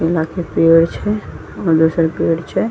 केला के पेड़ छे पेड़ छे।